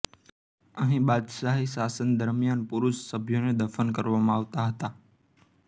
અહીં બાદશાહી શાસન દરમિયાન પુરુષ સભ્યોને દફન કરવામાં આવતા હતા